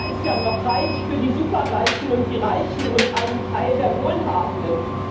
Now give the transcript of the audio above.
Da ist ja noch Platz für die Superreichen und die Reichen und einen Teil der Wohlhabenden.